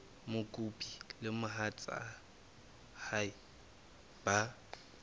mokopi le mohatsa hae ba